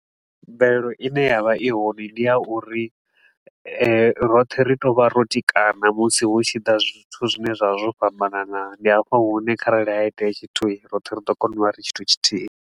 Mvelelo i ne ya vha i hone ndi ya uri roṱhe ri tou vha ro tikana musi hu tshi ḓa zwithu zwine zwa vha zwo fhambanana. Ndi hafha hune kharali ha itea tshithui, roṱhe ri ḓo kona u vha ri tshithu tshithihi.